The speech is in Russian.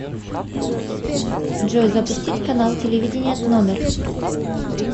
джой запустить канал телевидения тномер